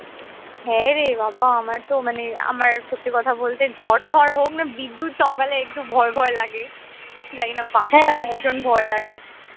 হ্যাঁ রে বা বা আমার তো মানে আমার সত্যি কথা বলতে ঝড় টড় হোক না বিদ্যুৎ চমকালে একটু ভয় ভয় লাগে জানিনা বাজটাকে ভীষণ ভয় লাগে